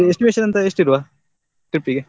Estimation ಎಂತ ಎಷ್ಠಿಡುವ trip ಗೆ?